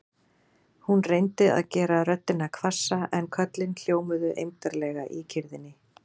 Hún reyndi að gera röddina hvassa en köllin hljómuðu eymdarlega í kyrrðinni.